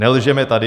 Nelžeme tady.